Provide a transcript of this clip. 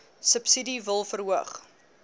subsidie wil verhoog